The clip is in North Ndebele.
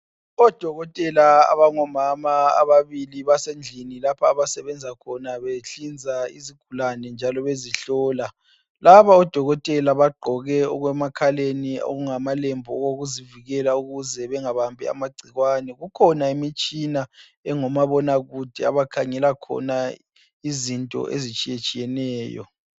Odokotela abangomama ababili basendlini lapha abasebenza khona behlinza izigulane njalo bezihlola. Laba odokotela bagqoke okwemakhaleni okungamalembu okokuzivikela ukuze bengabambi amagcikwane. Kukhona imitshina engomabonakude abakhangela khona izinto ezitshiyetshiyeneyo.